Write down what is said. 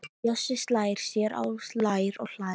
Bjössi slær sér á lær og hlær.